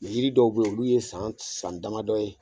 Yiri dɔw be ye olu ye san san damadɔ ye